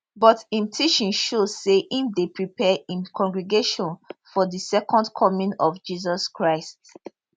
but im teaching show say im dey prepare im congregation for di second coming of jesus christ